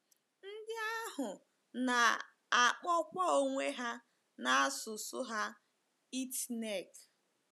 Ndị ahụ na - akpọkwa onwe ha na asụsụ ha Itneg.